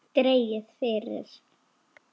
Dregið fyrir.